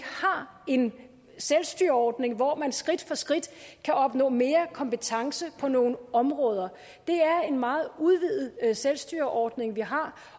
har en selvstyreordning hvor man skridt for skridt kan opnå mere kompetence på nogle områder det er en meget udvidet selvstyreordning vi har